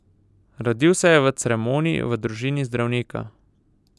Rodil se je v Cremoni v družini zdravnika.